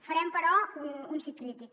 farem però un sí crític